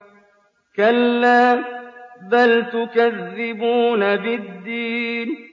كَلَّا بَلْ تُكَذِّبُونَ بِالدِّينِ